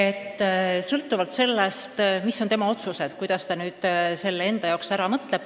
Kõik sõltub sellest, mis otsuse inimene teeb, kuidas ta selle kõik enda jaoks selgeks mõtleb.